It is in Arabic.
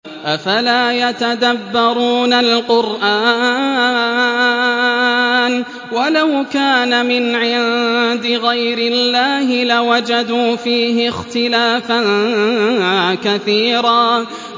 أَفَلَا يَتَدَبَّرُونَ الْقُرْآنَ ۚ وَلَوْ كَانَ مِنْ عِندِ غَيْرِ اللَّهِ لَوَجَدُوا فِيهِ اخْتِلَافًا كَثِيرًا